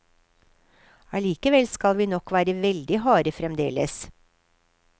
Allikevel skal vi nok være veldig harde fremdeles.